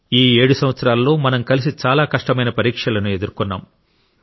ఈ 7 సంవత్సరాలలో మనం కలిసి చాలా కష్టమైన పరీక్షలను ఎదుర్కొన్నాం